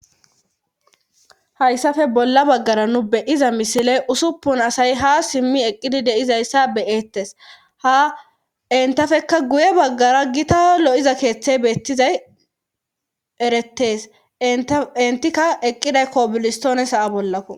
Hayssape bolla baggara nu beyiza misile usuppun asay ha simmi eqqidi deizayssa beyettes ha intafekka guye baggara gita lo7iza keeththey beettizay eretees intikka eqqiday koobilistoone saa bollakko